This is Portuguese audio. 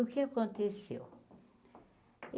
O que aconteceu?